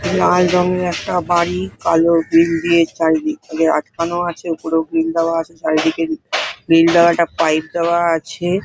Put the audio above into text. লাল রঙের একটা বাড়ি কালো গ্রিল দিয়ে চারিদিক দিয়ে আটকানো আছে ওপরেও গ্রিল দেওয়া আছে চারিদিকের গ্রিল দেওয়াটা পাইপ দেওয়া আছে |